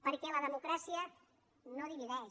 perquè la democràcia no divideix